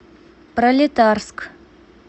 пролетарск